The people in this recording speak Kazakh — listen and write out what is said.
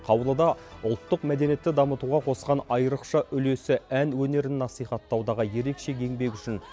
қаулыда ұлттық мәдениетті дамытуға қосқан айрықша үлесі ән өнерін насихаттаудағы ерекше еңбегі үшін